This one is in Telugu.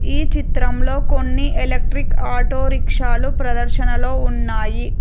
ఈ చిత్రంలో కొన్ని ఎలక్ట్రిక్ ఆటో రిక్షాలు ప్రదర్శనలో ఉన్నాయి.